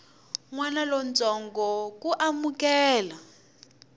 n wana lontsongo ku amukela